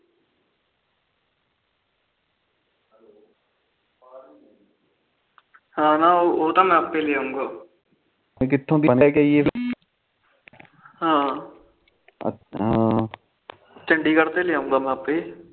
ਨਾ ਨਾ ਉਹ ਤਾ ਮੈ ਆਪੇ ਲੇਆਉ ਕਿਥੋ ਹਮ ਹਮ ਚੰਡੀਗੜ ਤੇ ਮੈ ਲੇ ਆਉਗਾ ਆਪੇ ਅੱਛਾ ਤੂੰ ਜਾਉਗਾ ਮੈ ਲੈ ਆਉਗਾ ਕੋਈ ਚੱਕਰ ਨੀ